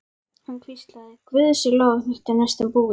Hann hvíslaði: Guði sé lof að þetta er næstum búið.